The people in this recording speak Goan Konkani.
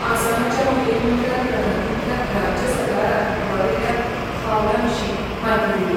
आसामाच्या मुखेलमंत्र्यान प्रधानमंत्र्याक राज्य सरकारान उबारिल्ल्या पावलां विशीं म्हायती दिली.